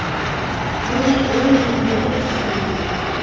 ылғи ой түріндегі түс көрем